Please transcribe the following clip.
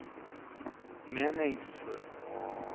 meningsfull